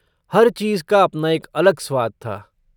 हर चीज़ का अपना एक अलग स्वाद था।